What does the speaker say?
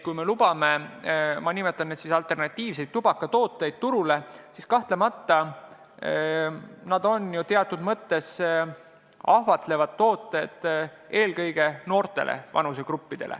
Kui me lubame alternatiivsed tubakatooted – ma nimetan neid nii – turule, siis kahtlemata need teatud mõttes ahvatlevad eelkõige noori vanusegruppe.